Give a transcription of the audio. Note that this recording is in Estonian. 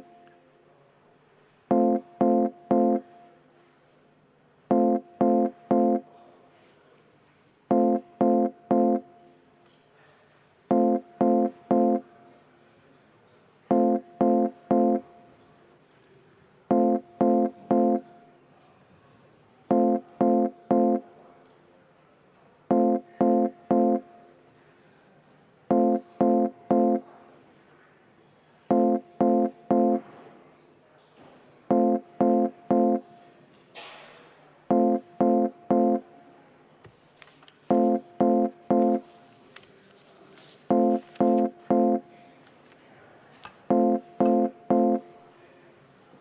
Auväärt kolleegid, panen hääletusele Sotsiaaldemokraatliku Erakonna fraktsiooni ettepaneku katkestada eelnõu 163